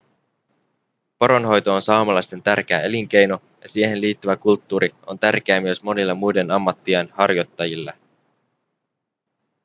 poronhoito on saamelaisten tärkeä elinkeino ja siihen liittyvä kulttuuri on tärkeää myös monille muiden ammattien harjoittajille